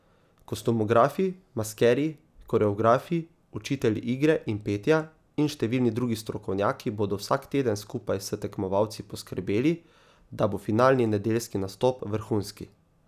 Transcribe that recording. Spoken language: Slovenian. Kostumografi, maskerji, koreografi, učitelji igre in petja in številni drugi strokovnjaki bodo vsak teden skupaj s tekmovalci poskrbeli, da bo finalni nedeljski nastop vrhunski.